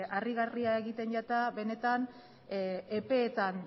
harrigarria egiten zait benetan epeetan